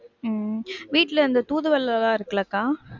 உம் வீட்ல அந்த தூதுவளலாம் இருக்குல அக்கா,